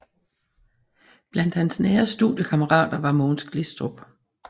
Blandt hans nære studiekammerater var Mogens Glistrup